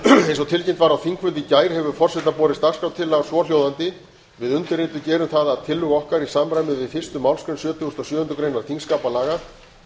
eins og tilkynnt var á þingfundi í gær hefur forseta al hefur borist dagskrártillaga svohljóðandi við undirrituð gerum tillögu um með vísan í fyrstu málsgrein sjötugustu og sjöundu greinar þingskapalaga